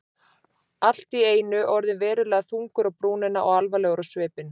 Allt í einu orðinn verulega þungur á brúnina og alvarlegur á svipinn.